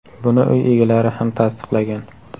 Buni uy egalari ham tasdiqlagan.